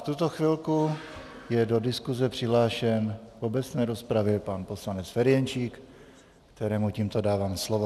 V tuto chvíli je do diskuze přihlášen v obecné rozpravě pan poslanec Ferjenčík, kterému tímto dávám slovo.